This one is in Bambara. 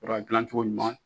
Yɔrɔ a gilan cogo ɲuman